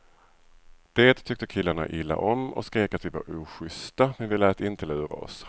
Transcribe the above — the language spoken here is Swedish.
Det tyckte killarna illa om och skrek att vi var ojusta, men vi lät inte lura oss.